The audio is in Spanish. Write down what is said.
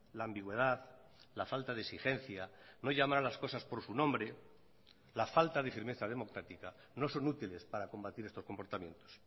la ambigüedad la falta de exigencia no llamar a las cosas por su nombre la falta de firmeza democrática no son útiles para combatir estos comportamientos